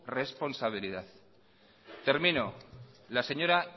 responsabilidad termino la señora